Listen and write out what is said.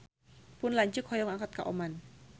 Pun lanceuk hoyong angkat ka Oman